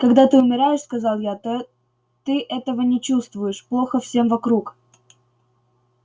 когда ты умираешь сказал я то ты этого не чувствуешь плохо всем вокруг